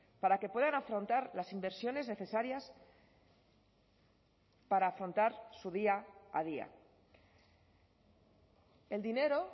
para que puedan afrontar las inversiones necesarias para afrontar su día a día el dinero